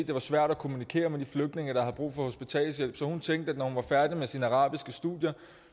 det var svært at kommunikere med de flygtninge der har brug for hospitalshjælp så hun tænkte at når hun var færdig med sine arabiske studier